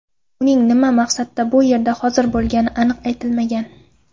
Uning nima maqsadda bu yerda hozir bo‘lgani aniq aytilmagan.